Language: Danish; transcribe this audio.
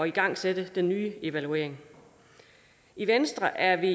igangsætte den nye evaluering i venstre er vi